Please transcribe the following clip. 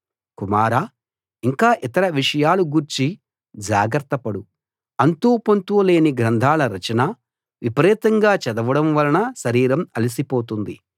కుమారా ఇంకా ఇతర విషయాల గూర్చి జాగ్రత్తపడు అంతూ పొంతూ లేని గ్రంథాల రచన విపరీతంగా చదవడం వలన శరీరం అలిసిపోతుంది